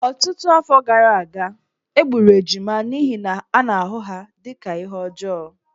Ọtụtụ afọ gara aga, e gburu ejima n’ihi na a na-ahụ ha dị ka ihe ọjọọ.